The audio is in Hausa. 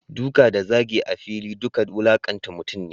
Duka da zagi a fili duka wulakanta mutum ne.